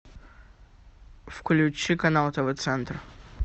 включи канал тв центр